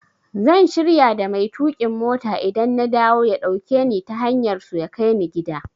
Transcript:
Zan shirya da mai tuƙin mota idan na dawo ya dauke ni ta hanyar su ya kai ni gida.